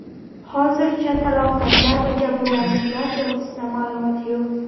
Hozircha talafotlar va jabrlanuvchilar to‘g‘risida ma’lumot yo‘q.